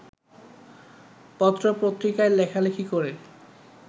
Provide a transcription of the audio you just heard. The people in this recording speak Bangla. পত্রপত্রিকায় লেখালেখি করে